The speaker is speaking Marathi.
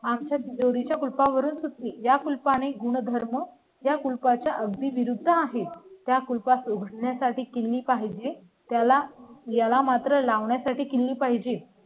आमच्या जोडी च्या कुलुप वरून सुचली या कुलपा ने गुणधर्म या कोलकात्या विरुद्ध आहेत. त्या कुल पास उघडण्या साठी केली पाहिजे. त्याला याला मात्र लावण्यासाठी केली पाहिजे